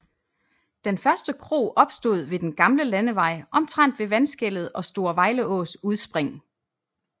Den første kro opstod ved den gamle landevej omtrent ved vandskellet og Store Vejleås udspring